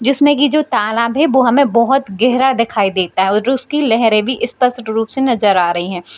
जिसमें की जो तालाब है वो हमें बहुत गहरा दिखाई देता है वो जो उसकी लहरे भी स्पष्ट रूप से नजर आ रही है।